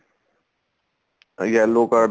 yellow card